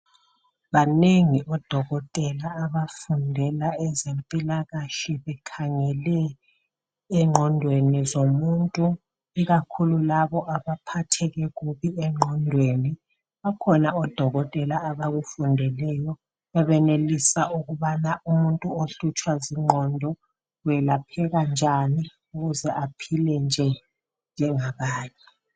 Banengi odokotela abafundela ezempilakahle bekhangele engqondweni zomuntu ikakhulu labo abaphatheke kubi engqondweni , bakhona odokotela abakufundeleyo abanelisa ukubana umuntu ohlutshwa zingqondo welapheka njani ukuze aphile nje njengabanye